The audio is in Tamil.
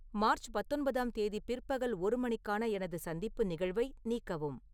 மார்ச் பத்தொன்பதாம் தேதி பிற்பகல் ஒரு மணிக்கான எனது சந்திப்பு நிகழ்வை நீக்கவும்